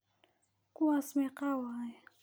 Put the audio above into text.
Kuwas meqaa waye.